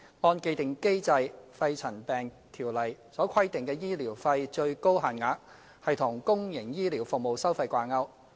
按既定機制，《條例》所規定的醫療費最高限額與公營醫療服務收費掛鈎。